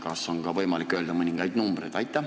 Kas on võimalik öelda ka mõningaid numbreid?